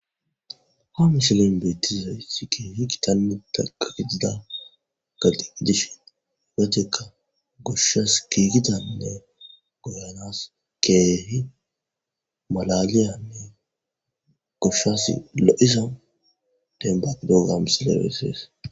ha mishilin beettizaysi keehi kitalnu takaitida galxiidishin igateka goshshas kiigidanne goyanas keehi malaliyanne goshshas lo7isa dembaqidogam silebessees